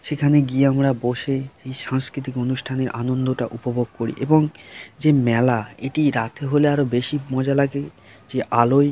সেখানে গিয়ে আমরা বসে এই সাংস্কৃতিক অনুষ্ঠানে আনন্দটা উপভোগ করি এবং যে মেলা এটি রাতে হলে আরো বেশি মজা লাগে যে আলোয়--